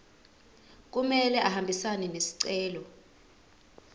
kumele ahambisane nesicelo